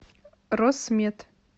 росмет